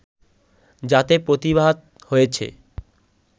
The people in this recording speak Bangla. যাতে প্রতিভাত হয়েছে